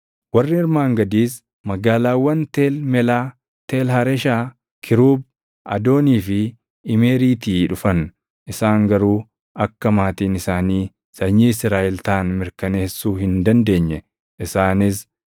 Warri armaan gadiis magaalaawwan Teel Melaa, Teel Hareshaa, Kiruub, Adoonii fi Imeeriitii dhufan; isaan garuu akka maatiin isaanii sanyii Israaʼel taʼan mirkaneessuu hin dandeenye; isaanis: